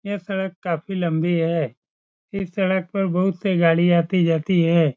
ये सड़क काफी लम्बी है। इस सड़क बहुत सी गाड़ी आती-जाती है।